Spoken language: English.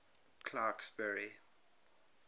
clarksburry